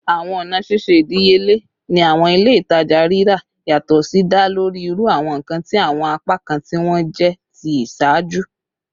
Awọn ọna ṣiṣe idiyele ni awọn ile-itaja rira yatọ si da lori iru awọn nkan ati awọn apakan ti wọn jẹ ti iṣaaju